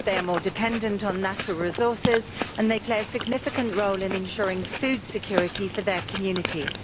they are more dependent on natural resources and they play a significant role in ensuring food security for their communities.